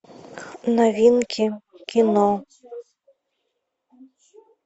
новинки кино